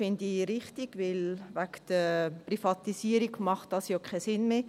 Das finde ich richtig, denn wegen der Privatisierung macht dieser ja keinen Sinn mehr.